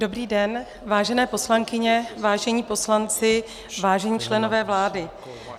Dobrý den, vážené poslankyně, vážení poslanci, vážení členové vlády.